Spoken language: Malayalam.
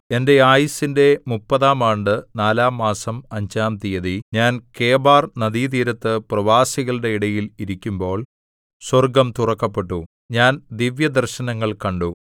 എന്റെ ആയുസിന്റെ മുപ്പതാം ആണ്ട് നാലാംമാസം അഞ്ചാം തീയതി ഞാൻ കെബാർനദീതീരത്ത് പ്രവാസികളുടെ ഇടയിൽ ഇരിക്കുമ്പോൾ സ്വർഗ്ഗം തുറക്കപ്പെട്ടു ഞാൻ ദിവ്യദർശനങ്ങൾ കണ്ടു